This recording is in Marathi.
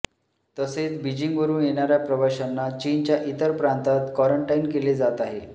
तसेच बीजिंगवरून येणाऱ्या प्रवाशांना चीनच्या इतर प्रांतात क्वारंटाईन केले जात आहे